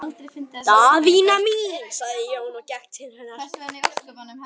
Daðína mín, sagði Jón og gekk til hennar.